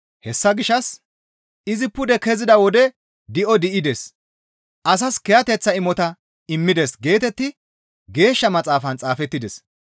Hessa gishshas, «Izi pude kezida wode di7o di7ides; Asaas kiyateththa imota immides» geetetti Geeshsha Maxaafan xaafettides.